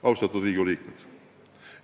Austatud Riigikogu liikmed!